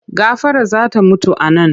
Gafara za ta mutu a nan!